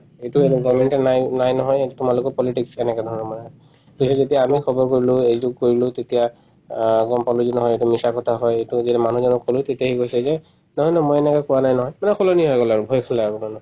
এইটো government য়ে নাই নাই নহয় এইটো তোমালোকৰ politics এনেকুৱা ধৰণৰ মানে পিছত যেতিয়া আমি খবৰ কৰিলো এইটো কৰিলো তেতিয়া অ গম পালো যে নহয় এইটো মিছা কথা হয় এইটো মানুহজনে কলো তেতিয়া সি কৈছে যে নহয় নহয় মই এনেকে কোৱা নাই নহয় পূৰা সলনি হৈ গল আৰু কাৰণে